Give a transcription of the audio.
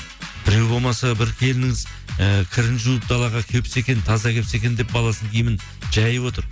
біреу болмаса бір келініңіз ііі кірін жуып далаға кепсе екен таза кепсе екен деп баласының киімін жайып отыр